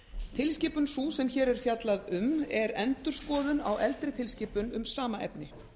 tilskipun sú sem hér er fjallað um er endurskoðun á eldri tilskipun um sama efni